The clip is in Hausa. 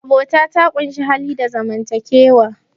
abota ta ƙunshi hali da zaman takewa